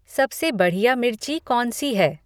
सबसे बढ़िया मिर्ची कौनसी है